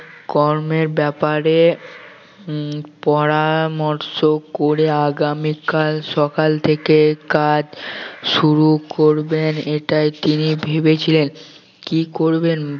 কর্মের ব্যাপারে উম পরামর্শ করে আগামীকাল সকালে থেকে কাজ শুরু করবেন এটাই তিনি ভেবেছিলেন কি করবেন